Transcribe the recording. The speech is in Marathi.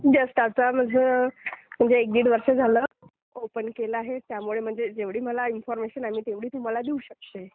जस्ट आता बघा म्हणजे एक दीड वर्ष झालं. ओपन केलं आहे त्यामुळे म्हणजे जेवढी मला इन्फॉर्मेशन आहे मी तेवढी तुम्हाला देऊ शकते.